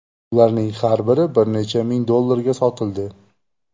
Ularning har biri bir necha ming dollarga sotildi.